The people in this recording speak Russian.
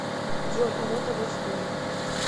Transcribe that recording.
джой оно того стоит